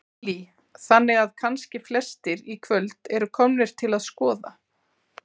Lillý: Þannig að kannski flestir í kvöld eru komnir til að skoða?